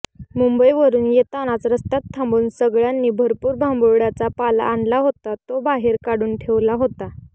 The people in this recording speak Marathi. मुंबईवरुन येतानाच रस्त्यात थांबुन सगळ्यांनी भरपुर भांबुर्ड्याचा पाला आणला होता तो बाहेर काढून ठेवला होता